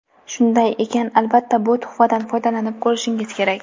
Shunday ekan, albatta bu tuhfadan foydalanib ko‘rishingiz kerak.